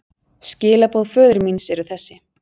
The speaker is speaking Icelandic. Skilaboð föður míns eru þessi.